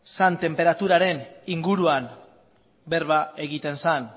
zen tenperaturaren inguruan berba egiten zen